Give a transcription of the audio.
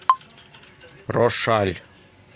рошаль